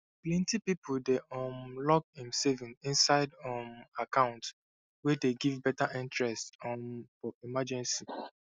plenty people dey um lock im saving inside um account wey dey give better interest um for emergency